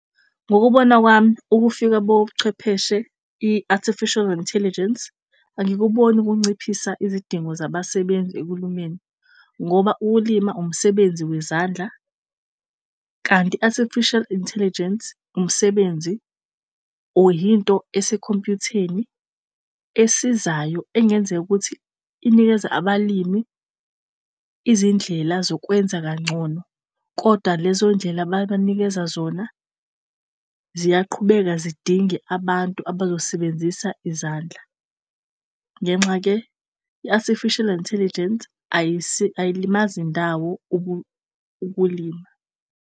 Ngokubona kwami ukufika buchwepheshe i-Artificial Intelligence angikuboni kunciphisa izidingo zabasebenzi ekulumeni ngoba ulima umsebenzi wezandla. Kanti i-Artificial Intelligence umsebenzi or yinto esekhompuyutheni esizayo engenzeka ukuthi inikeza abalimi izindlela zokwenza kangcono. Kodwa lezo ndlela ababanikeza zona ziyaqhubeka zidinge abantu abazosebenzisa izandla. Ngenxa ke i-Artificial Intelligence ayilimazi ndawo ukulima.